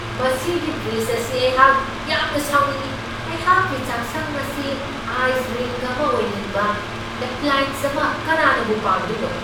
ꯃꯁꯤꯒꯤ ꯐꯔꯤꯗꯖ ꯑꯁꯤ ꯑꯩꯍꯥꯛ ꯌꯥꯝꯅ ꯁꯥꯎꯅꯤꯡꯢ ꯫ ꯑꯩꯍꯥꯛꯀꯤ ꯆꯥꯛꯁꯪ ꯑꯁꯤ ꯑꯥꯏꯁ ꯔꯤꯡꯛ ꯑꯃ ꯑꯣꯏꯍꯟꯕ ꯑꯦꯄ꯭ꯂꯥꯏꯌꯦꯟꯁ ꯑꯃ ꯀꯅꯥꯅꯕꯨ ꯄꯥꯝꯗꯣꯏꯅꯣ ?